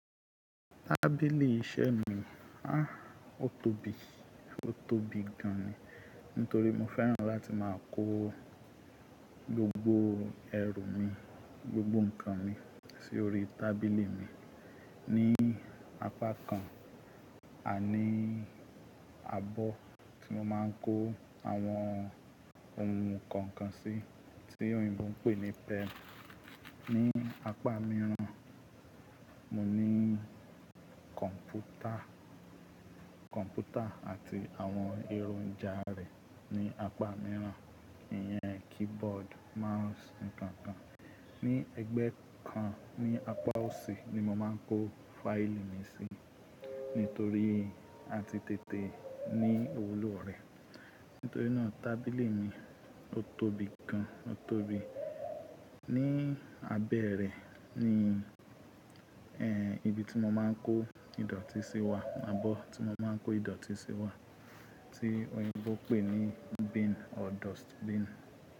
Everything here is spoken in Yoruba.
Tábìlì iṣẹ́ mi, aá ò tóbi, ò tóbi gan ni. Nítorí mo fẹ́ràn láti máa kó gbogbo ẹrù mi, gbogbo ǹkan mi sí orí tábìlì mi. Ni apá kan, àní àbọ̀ tí mo máa ń kó àwọn ohun kọ̀ọ̀kan sí tí òyìnbó ń pè ní pen. Ni apa mìíràn, mo ní kọ̀ǹpútà, kọ̀ǹpútà àti àwọn eronja rẹ̀ ní apá mìíràn. Ìyẹn keyboard, mouse, nǹkan nǹkan. Ni ẹgbẹ́ kan ní apá òsì ni mo máa ń kó fáílì mi sí nítorí a ti tètè ní òwò lò rẹ̀. Nítorí náà tábìlì mi ò tóbi gan, ò tóbi. Ni abẹ́ rẹ̀ ni, ẹ́ẹ́, ibi tí mo máa ń kó ìdọ̀tí sí wà, àbọ̀ tí mo máa ń kó ìdọ̀tí sí wà tí òyìnbó ń pè ní bin or dustbin.